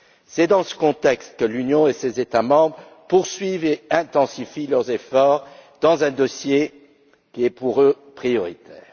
C'est dans ce contexte que l'Union et ses États membres poursuivent et intensifient leurs efforts dans un dossier qui, pour eux, est prioritaire.